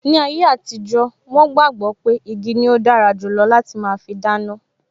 Ni ayé àtijó, wọn gbàgbọ́ pé igi ni ó dára jù lọ láti máa fi dáná